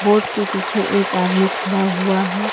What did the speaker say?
Board के पीछे एक आदमी खड़ा हुआ है।